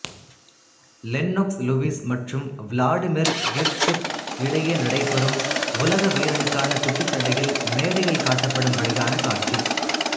Lennox Lewis மற்றும் Vladimir Klitschko இடையே நடைபெறும் உலக வீரனுக்கான குத்துச்சண்டையில் மேடையில் காட்டப்படும்படியான காட்சி